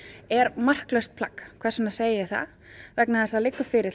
er marklaust plagg hvers vegna segi ég það vegna þess að það liggur fyrir